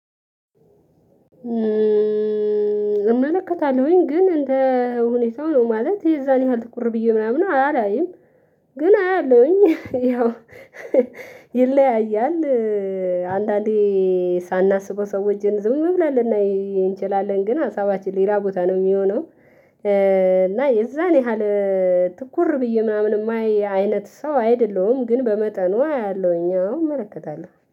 እመለከታለሁኝ ግን እንደ ሁኔታው ነው ማለት የዛን ያህል ትኩር ብዬ ምናምን አላያይም። ግን አያለሁኝ ያው ይለያያል። አንዳንዴ ሳናስበው ሰዎችን ዝም ብለን ልናይ እንችላለን ግን ሀሳባችን ሌላ ቦታ ነው የሚሆነው። እና የዛን ያህል ትኩር ብዬ ምናምን የማየው አይነት ሰው አይደለሁም። ግን በመጠኑ አያለሁኝ አዎ እመለከታለሁ